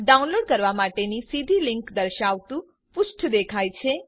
download કરવા માટેની સીધી લિંક દર્શાવતું પૃષ્ઠ દેખાય છે